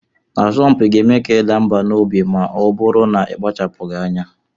Asọmpi ga-eme ka ị daa mbà n'obi ma ọ bụrụ na ị kpachapụghị anya